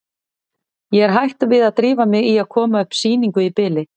Ég er hætt við að drífa mig í að koma upp sýningu í bili.